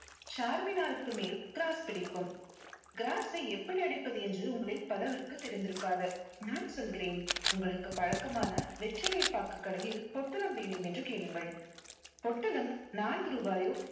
charminar க்கு மேல் gross பிடிக்கும். gross ஐ எப்படி அடிப்பது என்று உங்களில் பலருக்கு தெரிந்திருக்காது. நான் சொல்கிறேன் உங்களுக்கு பழக்கமான வெற்றிலை பாக்கு கடையில் பொட்டலம் வேண்டும் என்று கேளுங்கள். பொட்டலம் நான்கு ரூபாயோ